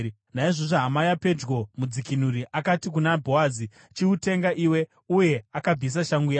Naizvozvo hama yapedyo, mudzikinuri akati kuna Bhoazi, “Chiutenga iwe.” Uye akabvisa shangu yake.